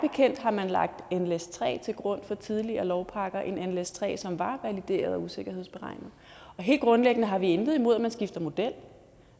bekendt har man lagt nles3 til grund for tidligere lovpakker en nles3 model som var valideret og usikkerhedsberegnet helt grundlæggende har vi intet imod at man skifter model og